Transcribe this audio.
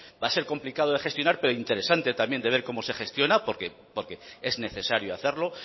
va a ser complicado de gestionar pero interesante también de ver cómo se gestiona porque es necesario hacerlo